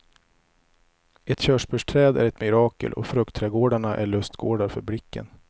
Ett körsbärsträd är ett mirakel och fruktträdgårdarna är lustgårdar för blicken.